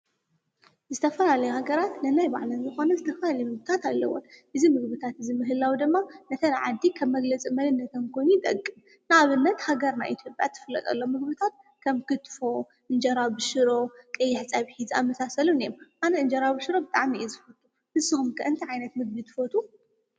ዝተፈላለያ ሃገራት ነናይ ባዕለን ዝኾነ ዝተፈላለየ ምግብታት ኣለወን፡፡ እዚ ምግብታት እዚ ምህላዉ ድማ ነተን ዓዲ ካብ መፍለዪ መንነት ኮይኑ ይጠቅም፡፡ ንኣብነት ሃገርና ኢትዮጵያ ትፍለጠሎም ምግብታት ከም ክትፎ፣ እንጀራ ብሽሮ፣ ቀይሕ ፀብሒ ዝኣመሳሰሉ እዮም፡፡ ኣነ እንጀራ ብሽሮ ብጣዕሚ እየ ዝፈቱ፡፡ ንስኸም ከ እንታይ ዓይነት ምግቢ ትፈትዉ?